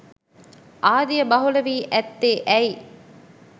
ආදිය බහුල වී ඇත්තේ ඇයි.